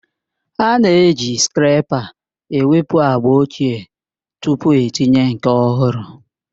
A na-eji skreepa ewepụ agba ochie tupu itinye nke ọhụrụ